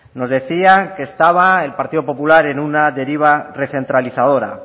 nos decía que estaba el partido popular en una deriva recentralizadora